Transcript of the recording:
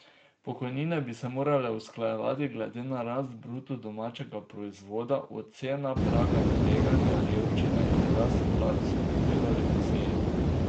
Pokojnine bi se morale usklajevati glede na rast bruto domačega proizvoda, oceno praga tveganja revščine in rast plač, so povedali po seji.